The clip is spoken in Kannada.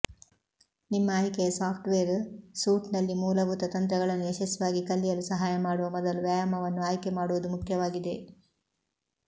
ನಿಮ್ಮ ಆಯ್ಕೆಯ ಸಾಫ್ಟ್ವೇರ್ ಸೂಟ್ನಲ್ಲಿ ಮೂಲಭೂತ ತಂತ್ರಗಳನ್ನು ಯಶಸ್ವಿಯಾಗಿ ಕಲಿಯಲು ಸಹಾಯ ಮಾಡುವ ಮೊದಲು ವ್ಯಾಯಾಮವನ್ನು ಆಯ್ಕೆಮಾಡುವುದು ಮುಖ್ಯವಾಗಿದೆ